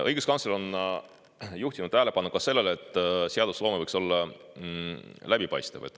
Õiguskantsler on juhtinud tähelepanu ka sellele, et seadusloome võiks olla läbipaistev.